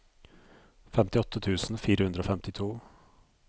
femtiåtte tusen fire hundre og femtito